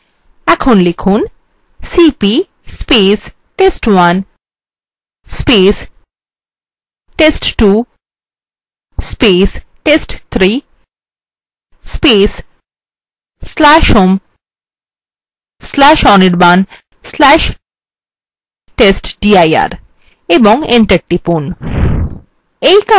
এখন লিখুন $cp test1 test2 test3/home/anirban/testdir এবং enter টিপুন